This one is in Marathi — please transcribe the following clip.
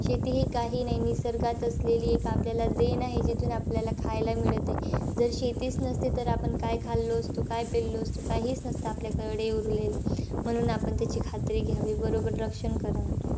शेती हि काही नाही निसर्गात असलेली एक आपल्याला देण आहे, जिथून आपल्याला खायला मिळत आहे. जर शेतीचं नसती तर, आपण काय खाललो असतो, काय पेल्लो असतो? काहीच नसतं आपल्याकडे उरलेलं. म्हणून आपण त्याची खात्री घ्यावी. बरोबर रक्षण करावं.